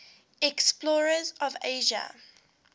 explorers of asia